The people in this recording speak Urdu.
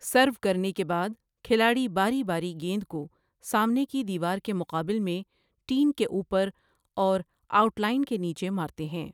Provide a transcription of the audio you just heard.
سرو کرنے کے بعد، کھلاڑی باری باری گیند کو سامنے کی دیوار کے مقابل میں، ٹین کے اوپر اور آؤٹ لائن کے نیچے مارتے ہیں۔